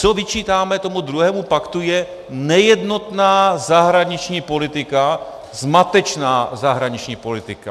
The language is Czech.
Co vyčítáme tomu druhému paktu, je nejednotná zahraniční politika, zmatečná zahraniční politika.